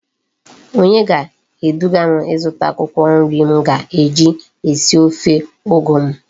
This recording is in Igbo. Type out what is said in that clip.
Onye ga edugam izuta akwukwo nri m ga eji esi ofe ugu m?